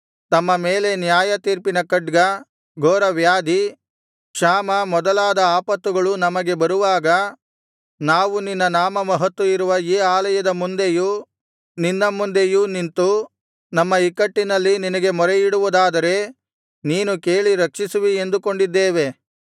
ತಮ್ಮ ಮೇಲೆ ನ್ಯಾಯ ತೀರ್ಪಿನ ಖಡ್ಗ ಘೋರವ್ಯಾಧಿ ಕ್ಷಾಮ ಮೊದಲಾದ ಆಪತ್ತುಗಳು ನಮಗೆ ಬರುವಾಗ ನಾವು ನಿನ್ನ ನಾಮ ಮಹತ್ತು ಇರುವ ಈ ಆಲಯದ ಮುಂದೆಯೂ ನಿನ್ನ ಮುಂದೆಯೂ ನಿಂತು ನಮ್ಮ ಇಕ್ಕಟ್ಟಿನಲ್ಲಿ ನಿನಗೆ ಮೊರೆಯಿಡುವುದಾದರೆ ನೀನು ಕೇಳಿ ರಕ್ಷಿಸುವಿ ಎಂದುಕೊಂಡಿದ್ದೇವೆ